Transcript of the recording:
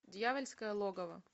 дьявольское логово